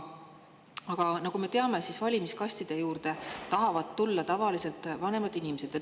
Aga nagu me teame, valimiskastide juurde tahavad tulla tavaliselt vanemad inimesed.